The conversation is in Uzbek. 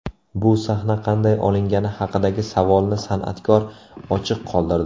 Bu sahna qanday olingani haqidagi savolni san’atkor ochiq qoldirdi.